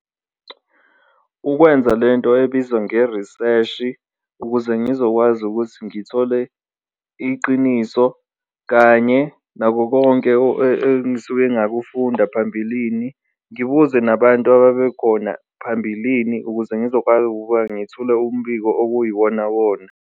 Ukwenza lento ebizwa ngeriseshi ukuze ngizokwazi ukuthi ngithole iqiniso kanye nako konke engisuke ngakufunda phambilini, ngibuze nabantu ababekhona phambilini ukuze ngizoqala ukuba ngithule umbiko okuyiwona wona.